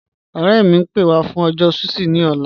Ọ̀rẹ̀ mi, ń pẹ́ wà fún ọjọ́ sushi ni ọ̀là.